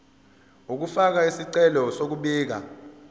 ukufaka isicelo sokubika